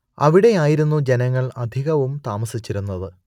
അവിടെയായിരുന്നു ജനങ്ങൾ അധികവും താമസിച്ചിരുന്നത്